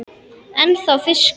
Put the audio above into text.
Ennþá fiskur.